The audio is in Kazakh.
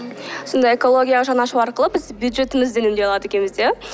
сонда экологияға жан ашу арқылы біз бюджетімізді үнемдей алады екенбіз иә